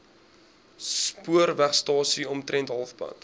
spoorwegstasie omtrent halfpad